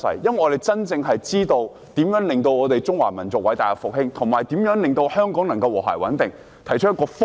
我們真的知道如何令中華民族偉大復興，以及如何令香港和諧穩定，因此，我們提出了一個方向。